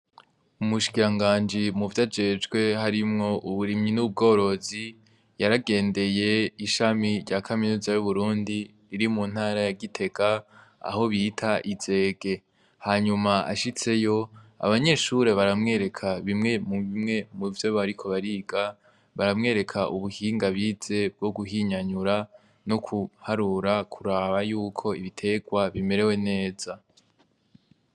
Umushikiranganji muvyo ajejwe harimwo uburimyi n'ubworozi , yaragendeye ishami rya kaminuza y'uburundi riri mu ntara ya gitega aho bita izege, hanyuma ashitseyo abanyeshure baramwereka bimwe mu bimwe muvyo bariko bariga baramwereka ubuhinga bize bwo guhinyanyura no kuharura kuraba yuko ibiterwa bimerewe neza.